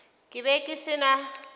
ke be ke se na